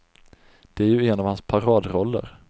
Det är ju en av hans paradroller.